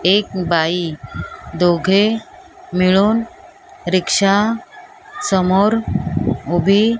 एक बाई दोघे मिळून रिक्षा समोर उभे --